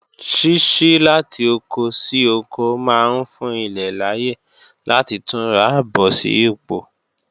Ṣíṣí láti oko sí oko máa ń fún ilẹ̀ láyè láti túnra bọ̀ sí pò